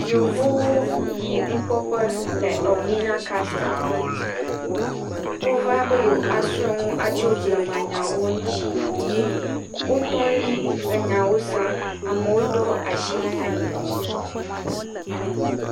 Yevuwo yi nukpɔƒe le Elmina castel. Wova be yewoasrɔ̃ nu atso blemanyawo ŋuuti, wotɔ ɖi enyawo sem. Amewo ɖo asi ali.